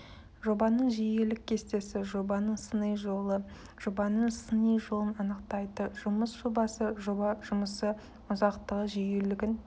жобаның жиілілік кестесі жобаның сыни жолы жобаның сыни жолын анықтайды жұмыс жобасы жоба жұмысы ұзақтығы жүйелілігін